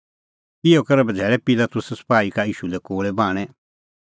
इहअ करै बझ़ैल़ै पिलातुसै सपाही का ईशू लै कोल़ै बाहणैं